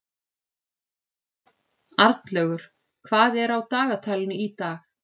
Arnlaugur, hvað er á dagatalinu í dag?